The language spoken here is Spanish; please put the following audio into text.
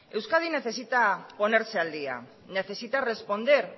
euskadi necesita ponerse al día necesita responder